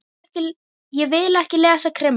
Ég vil ekki lesa krimma.